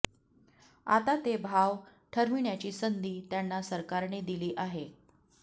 आता ते भाव ठरविण्याची संधी त्यांना सरकारने दिली आहे